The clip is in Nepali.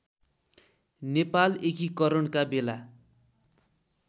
नेपाल एकीकरणका बेला